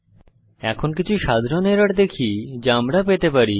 এখন কিছু সাধারণ এরর দেখি যা আমরা পেতে পারি